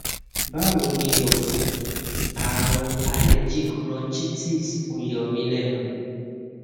báwo ni o àrùn allergic bronchitis ń yọ mí lẹnu